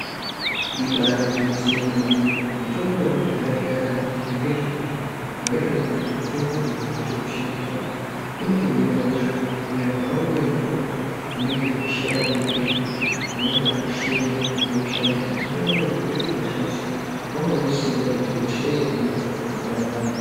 Ibari gwinyiso yomene mitombo yekudhaya zvayakanakira ngezvekuti mutombo uyu wandirikushandisa uyu unotohine hosha kunyangwe hawo uri mutombo unenge weishata maningi zvekuti unobatoshenya weiushandisa mutombo wekuti waiti ukashandisa wanga unesimba rekuti hosha yaihinika zvakanaka maningi.